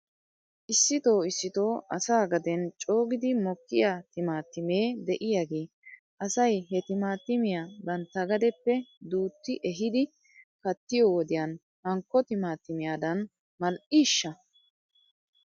Issitoo issitoo asaa gaden coogiidi mokkiyaa timaatimee de'iyaagee asay he timaatimiyaa bantta gadeppe duuti ehiidi kattiyoo wodiyan hankko timaatimiyaadan mal'iishsha?